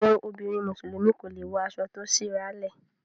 àwọn obìrin musulumi kọ lẹ wò aso to sí àrà le.